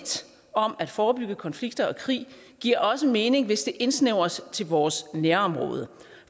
om at forebygge konflikter og krig giver også mening hvis det indsnævres til vores nærområde